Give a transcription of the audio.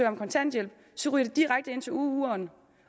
om kontanthjælp så ryger de direkte ind til uueren